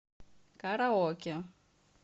караоке